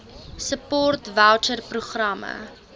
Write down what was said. support voucher programme